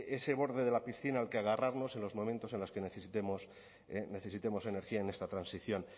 ese borde de la piscina al que agarrarnos en los momentos en los que necesitemos energía en esta transición